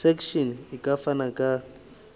section e ka fana ka